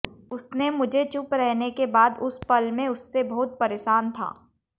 उसने मुझे चुप रहने के बाद उस पल में उससे बहुत परेशान था